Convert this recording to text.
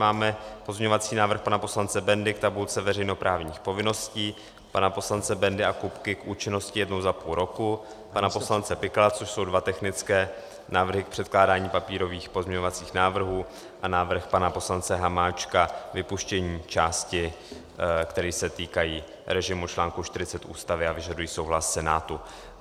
Máme pozměňovací návrh pana poslance Bendy k tabulce veřejnoprávních povinností, pana poslance Bendy a Kupky k účinnosti jednou za půl roku, pana poslance Pikala, což jsou dva technické návrhy k předkládání papírových pozměňovacích návrhů, a návrh pana poslance Hamáčka, vypuštění částí, které se týkají režimu článku 40 Ústavy a vyžadují souhlas Senátu.